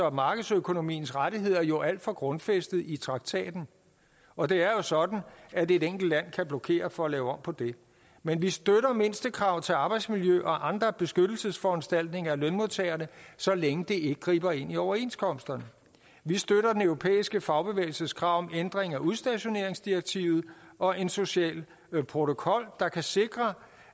og markedsøkonomiens rettigheder jo alt for grundfæstede i traktaten og det er jo sådan at et enkelt land kan blokere for at lave om på det men vi støtter mindstekrav til arbejdsmiljø og andre beskyttelsesforanstaltninger af lønmodtagerne så længe det ikke griber ind i overenskomsterne vi støtter den europæiske fagbevægelses krav om ændring af udstationeringsdirektivet og en social protokol der kan sikre